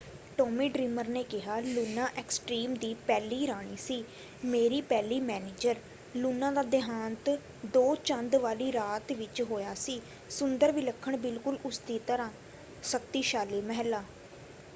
Tommy Dreamer ਨੇ ਕਿਹਾ Luna extreme ਦੀ ਪਹਿਲੀ ਰਾਣੀ ਸੀ। ਮੇਰੀ ਪਹਿਲੀ ਮੈਨੇਜਰ। ਲੂਨਾ ਦਾ ਦੇਹਾਂਤ ਦੋ ਚੰਦ ਵਾਲੀ ਰਾਤ ਵਿੱਚ ਹੋਇਆ ਸੀ। ਸੁੰਦਰ ਵਿਲੱਖਣ ਬਿਲਕੁਲ ਉਸਦੀ ਤਰ੍ਹਾਂ। ਸ਼ਕਤੀਸ਼ਾਲੀ ਮਹਿਲਾ।